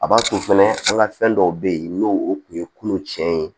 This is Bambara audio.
A b'a to fɛnɛ an ka fɛn dɔw bɛ yen n'o o tun ye kunun tiɲɛ ye